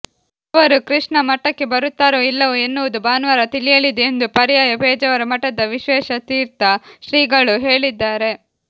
ಅವರು ಕೃಷ್ಣ ಮಠಕ್ಕೆ ಬರುತ್ತಾರೋ ಇಲ್ಲವೋ ಎನ್ನುವುದು ಭಾನುವಾರ ತಿಳಿಯಲಿದೆ ಎಂದು ಪರ್ಯಾಯ ಪೇಜಾವರ ಮಠದ ವಿಶ್ವೇಶತೀರ್ಥ ಶ್ರೀಗಳು ಹೇಳಿದ್ದಾರೆ